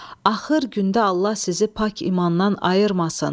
Axır gündə Allah sizi pak imandan ayırmasın.